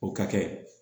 O ka kɛ